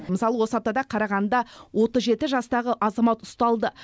мысалы осы аптада қарағандыда отыз жеті жастағы азамат ұсталды